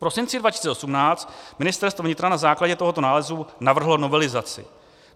V prosinci 2018 Ministerstvo vnitra na základě tohoto nálezu navrhlo novelizaci.